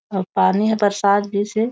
और पानी ह बरसात जैसे--